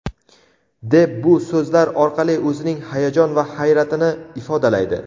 deb bu so‘zlar orqali o‘zining hayajon va hayratini ifodalaydi.